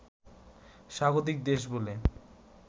স্বাগতিক দেশ বলে